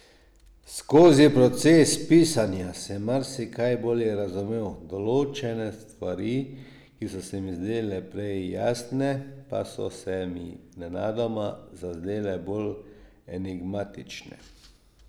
Skozi proces pisanja sem marsikaj bolje razumel, določene stvari, ki so se mi zdele prej jasne, pa so se mi nenadoma zazdele bolj enigmatične.